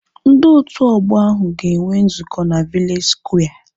Ndị otu ọgbọ ahu ga enwe nzukọ na vileji skware